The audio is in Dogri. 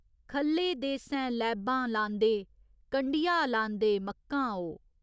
ख'ल्ले देसैं लैबां लांदे कंढिया लांदे मक्कां ओ।